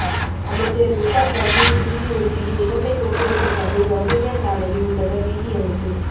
அமைச்சர் றிசாட் பதியுதீன் நிதி ஒதுக்கீட்டில் இலங்கை போக்குவரத்து சபை வவுனியா சாலையின் உள்ளக வீதி அமைப்பு